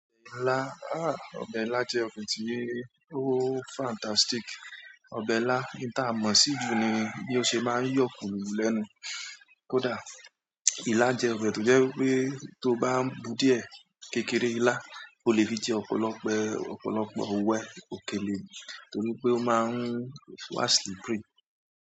Ọbẹ̀ ilá, ọbẹ̀ ilá jẹ́ ọbẹ̀ tí ó fantastic. Ọbẹ̀ ilá, ohun táa mọ̀-ọ́n sí jù ni bí ó ṣe máa ń yọ̀ kúrù lẹ́nu. Kódà, ila jẹ́ ọbẹ̀ tó jẹ́ eípé tóo bá ń bú díẹ̀ kékeré ilá, o le fi jẹ́ ọ̀pọ̀lọpọ̀, ọ̀pọ̀lọpọ̀ òwe òkèlè. Torí pé ó máa ń wà slippery.